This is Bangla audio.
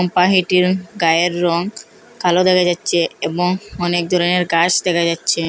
পাহিটির গায়ের রং কালো দেখা যাচ্ছে এবং অনেক ধরনের ঘাস দেখা যাচ্ছে।